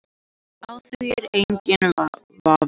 Á því er enginn vafi